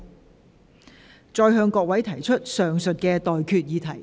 我現在向各位提出上述待決議題。